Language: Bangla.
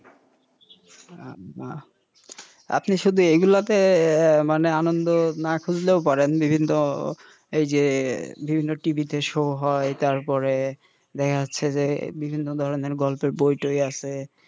আপনি শুধু এই গুলাতে মানে আনন্দ না খুঁজলেও পারেন বিভিন্নএই যে বিভিন্ন TV তে শো হয় তারপরে দেখা যাচ্ছে যে বিভিন্ন গল্পের বই টই আছে,